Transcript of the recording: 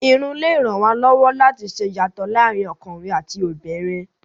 Irun lè ràn wá lọ́wọ́ láti ṣe ìyàtọ̀ láàárín ọkùnrin àti obìnrin.